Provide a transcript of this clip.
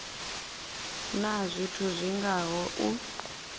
na zwithu zwi ngaho u